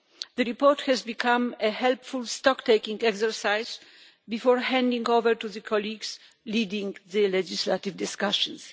The report has become a helpful stock-taking exercise before handing over to the colleagues leading the legislative discussions.